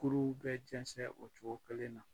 Kuruw bɛɛ jɛnsɛn o cogo kelen na.